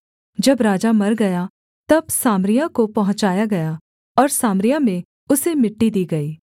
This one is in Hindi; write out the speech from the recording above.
जब राजा मर गया तब सामरिया को पहुँचाया गया और सामरिया में उसे मिट्टी दी गई